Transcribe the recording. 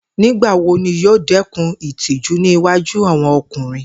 Nigbawo ni yoo dẹkun itiju ni iwaju awọn ọkunrin?